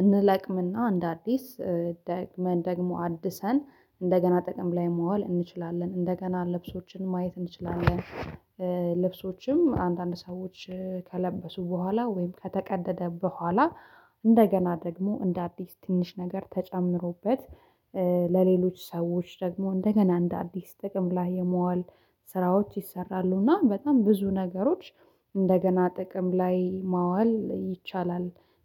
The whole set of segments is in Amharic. እንለቅም እና እንደ አዲስ ደግመን ደግሞ አድሰን እንደገና ጥቅም ላይ ማዋል እንችላለን እንደገና ልብሶችን ማየት እንችላለን። ልብሶችም አንዳንድ ሰዎች ከለበሱ በኋላ ወይም ከተቀደደ በኋላ እንደገና ደግሞ እንደ አዲስ ትንሽ ነገር ተጨምሮበት ለሌሎች ሰዎች ደግሞ እንደገና እንደ አዲስ ጥቅም ላይ የማዋል ስራዎች ይሰራሉ እና በጣም ብዙ ነገሮች እንደገና ጥቅም ላይ ማዋል ይቻላል።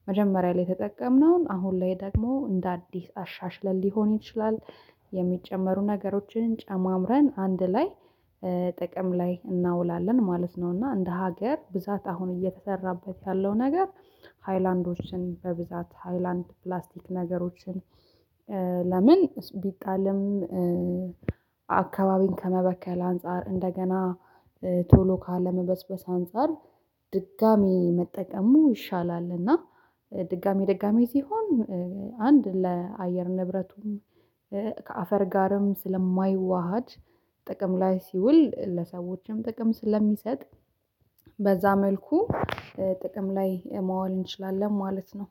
መጀመሪያ ላይ የተጠቀምነውን አሁን ላይ ደግሞ እንደ አዲስ አሻሽለን ሊሆን ይችላል የሚጨመሩ ነገሮችን ጨማምረን አንድ ላይ ጥቅም ላይ እናውላለን ማለት ነው። እና እንደ ሀገር ብዛት አሁን እየተሰራበት ያለው ነገር ሃይላንዶችን በብዛት ሃይላንድ ፕላስቲክ ነገሮችን ለምን ቢጣልም አካባቢን ከመበከል አንፃር እንደገና ቶሎ ካለመበስበስ አንፃር ድጋሚ መጠቀሙ ይሻላል እና ድጋሚ ድጋሚ ሲሆን አንድ ለአየር ንብረቱም ከአፈር ጋርም ስለማይዋሃድ ጥቅም ላይ ሲውል ለሰዎችም ጥቅም ስለሚሰጥ በዛ መልኩ ጥቅም ላይ ማዋል እንችላለን ማለት ነው።